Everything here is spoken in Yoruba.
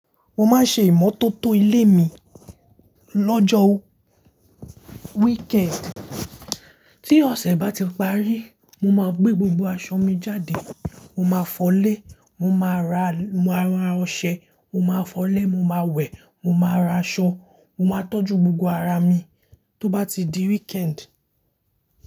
Mo máa ń ṣe ìmọ́tótó ìlé mi lọ́jọ́ weekend. Tí ọ̀ṣẹ́ bá ti parí, mo máa gbé gbogbo aṣọ mi jáde. Mo máa fọlé, mo máa ra ra ra ọṣẹ, mo máa fọlé, mo máa wẹ̀, mo máa ra aṣọ, mo máa tọ́jú gbogbo ara mi tó bá ti di weekend.